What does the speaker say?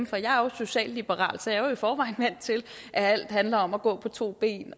for jeg er jo socialliberal så jeg er i forvejen vant til at alt handler om at gå på to ben